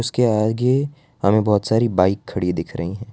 उसके आगे हमें बहोत सारी बाइक खड़ी दिख रही हैं।